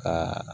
Ka